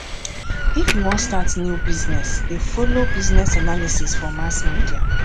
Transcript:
if you wan start new business dey folo business analysis for mass media